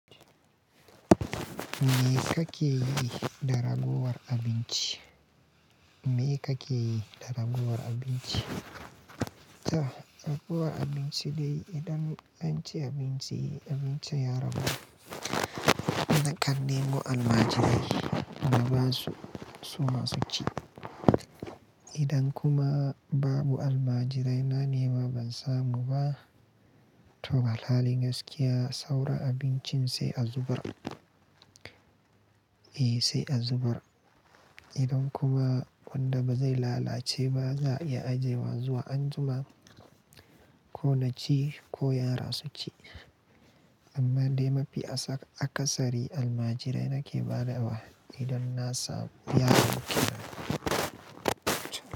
Me kake yi da ragowar abinci? Me kake yi da ragowar abinci? Ta, ragowar abinci dai idan an ci abinci, abincin ya ragu, na kandebo almajirai na ba su su ma su ci. Idan kuma babu almajirai na nema ban samu ba, to alhalin gaskiya, saura abincin sai a zubar. Eh, sai a zubar. Idan kuma wanda ba zai lalace ba za a iya ajiye wa zuwa anjima ko na ci ko yara su ci. Amma dai mafi akasari almajirai nake ba da wa idan na samu yaron kenan.